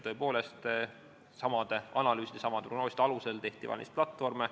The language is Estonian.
Tõepoolest, samade analüüside, samade prognooside alusel tehti valimisplatvorme.